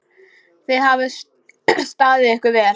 Þið hafið staðið ykkur vel.